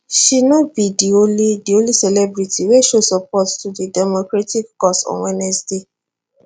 she no be di only di only celebrity wey show support to di democratic cause on wednesday